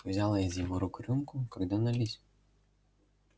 взяла из его рук рюмку когда налить